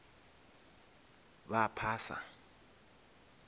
ba phasa